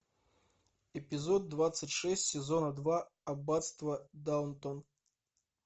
эпизод двадцать шесть сезона два аббатство даунтон